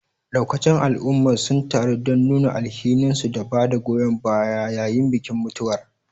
Daukacin al'ummar sun taru don nuna alhininsu da bada goyon baya yayin bikin mutuwar.